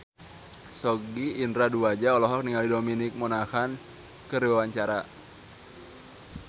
Sogi Indra Duaja olohok ningali Dominic Monaghan keur diwawancara